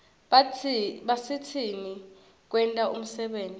basisitn kwenta umsebenti